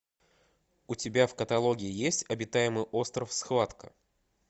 у тебя в каталоге есть обитаемый остров схватка